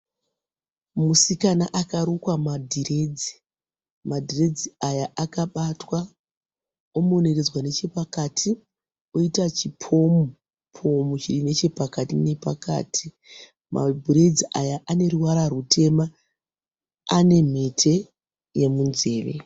Musikana akarukwa madhiredzi. Madhiredzi aya akabatwa omeneredzwa nechepakati oiyata chipomu-pomu chiri nechepakati nepakati. Madhiredzi aya ane ruvara rutema. Ane mhete yemunzeve.